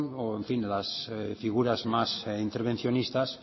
o las figuras más intervencionistas